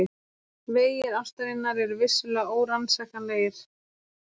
Vegir ástarinnar eru vissulega órannsakanlegir.